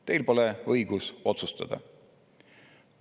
Teil pole õigust otsustada.